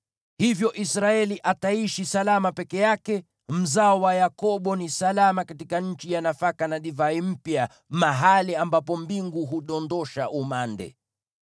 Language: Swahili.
Hivyo Israeli ataishi salama peke yake. Mzao wa Yakobo ni salama katika nchi ya nafaka na divai mpya, mahali ambapo mbingu hudondosha umande.